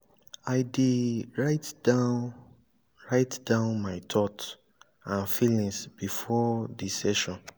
i dey write down write down my thought and feelings before di session.